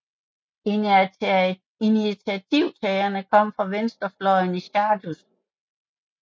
Initiativtagerne kom fra venstrefløjen i Sąjūdis